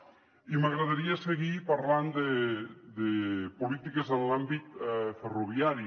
i m’agradaria seguir parlant de polítiques en l’àmbit ferroviari